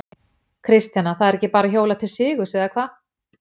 Kristjana, það er ekki bara hjólað til sigurs eða hvað?